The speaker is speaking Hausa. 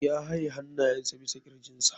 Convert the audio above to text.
Ya haye hannayensa bisa kirjinsa.